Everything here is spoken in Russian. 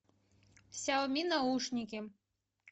сяоми наушники